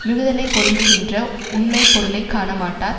மிகுதலைப் பொருந்துகின்ற உண்மை பொருளை காணமாட்டார்